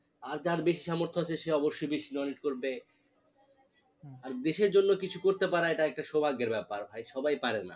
আর যার বেশি সামর্থ আছে সে অবশ্যই বেশি donate করবে আর দেশের জন্য কিছু করতে পারা এটা একটা সৌভাগ্যের ব্যাপার ভাই সবাই পারে না